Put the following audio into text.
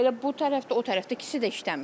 Elə bu tərəfdə, o tərəfdə ikisi də işləmir.